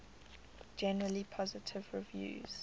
generally positive reviews